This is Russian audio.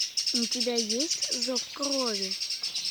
у тебя есть зов крови